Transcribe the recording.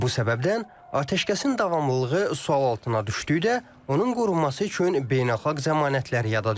Bu səbəbdən atəşkəsin davamlılığı sual altına düşdükdə, onun qorunması üçün beynəlxalq zəmanətlər yada düşür.